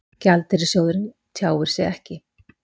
Gjaldeyrissjóðurinn tjáir sig ekki